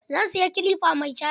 Zan siya kilifa mai caji.